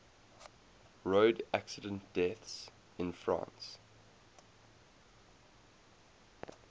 road accident deaths in france